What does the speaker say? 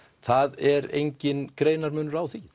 það er enginn greinarmunur á því